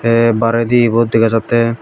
te baredi ebot dega jattey.